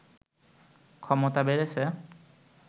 ক্ষমতা বেড়েছে